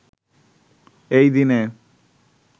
এই দিনে